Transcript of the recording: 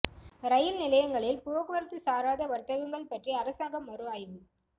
ரயில் நிலையங்களில் போக்குவரத்து சாராத வர்த்தகங்கள் பற்றி அரசாங்கம் மறு ஆய்வு